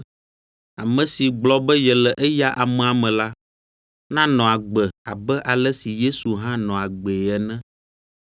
ame si gblɔ be yele eya amea me la, nanɔ agbe abe ale si Yesu hã nɔ agbee ene.